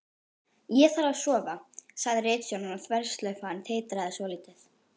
Ég þarf að sofa, sagði ritstjórinn og þverslaufan titraði svolítið.